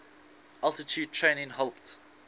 altitude training helped